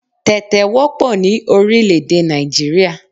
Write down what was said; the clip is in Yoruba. Tẹ̀tẹ̀ wọ́pọ̀ ní orílr̀-èdè Nàìjíríà.